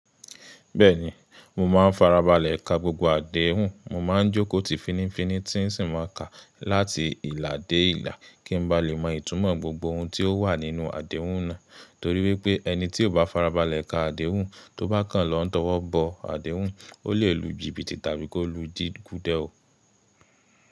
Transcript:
Bẹ́ẹ̀ni, mo máa ń farabalẹ̀ ka gbogbo àdéhùn, mo máa ń jókòó tì finifini tí ń sì máa kà láti ìlà dé ìlà kí n ba lè mọ ìtúmọ̀ gbogbo ohun tí ó wà nínú àdéhùn náà. Torí wípé́ ẹni tí ò bá farabalẹ̀ ka àdéhùn, tó bá kàn án lọ́wọ́ bọ àdéhùn, ó lè lù jìbìtì tàbí kí ó lù dí kúdẹ̀ o.